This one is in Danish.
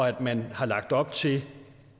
at man har lagt op til